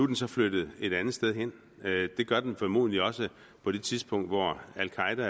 den så flyttet et andet sted hen det gør den formodentlig også på det tidspunkt hvor al qaeda